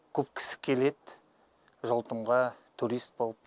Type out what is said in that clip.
көп кісі келеді желтомға турист болып